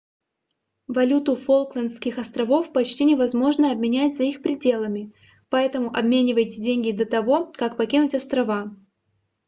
валюту фолклендских островов почти невозможно обменять за их пределами поэтому обменивайте деньги до того как покинуть острова